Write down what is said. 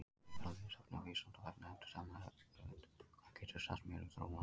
Frekara lesefni á Vísindavefnum eftir sama höfund: Hvað geturðu sagt mér um þróun apa?